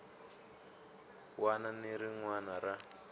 wana ni rin wana ra